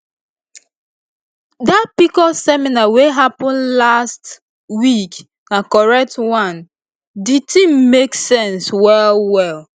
dat pcos seminar wey happen last week na correct one di thing make sense well well